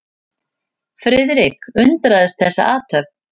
Friðrik undraðist þessa athöfn.